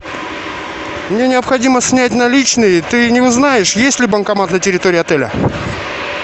мне необходимо снять наличные ты не узнаешь есть ли банкомат на территории отеля